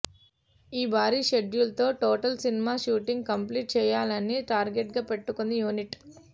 ఈ భారీ షెడ్యూల్ తో టోటల్ సినిమా షూటింగ్ కంప్లీట్ చేయాలని టార్గెట్ గా పెట్టుకుంది యూనిట్